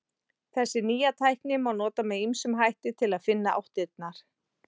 Þessa nýju tækni má nota með ýmsum hætti til að finna áttirnar.